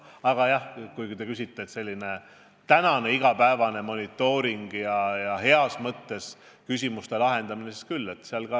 Aga jah, sellise igapäevase monitooringu ja heas mõttes küsimuste lahendamisega tuleb meil küll tegeleda.